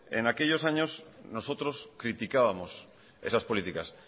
en aquellos años nosotros criticábamos esas políticas